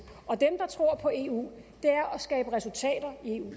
og dem der tror på eu er at skabe resultater i eu